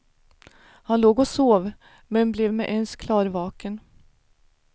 Han låg och sov, men blev med ens klarvaken.